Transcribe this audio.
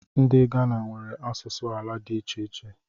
Ndị Ghana nwere asụsụ ala dị iche iche